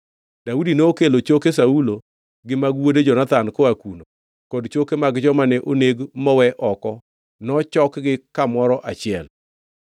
Daudi nokelo choke Saulo gi mag wuode Jonathan koa kuno, kod choke mag joma ne oneg mowe oko nochokgi kamoro achiel.